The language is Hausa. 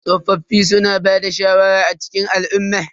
Tsofaffin suna bada shawara a cikin al'umma.